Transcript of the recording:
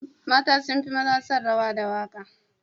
Mata sun fi maza son rawa da waka.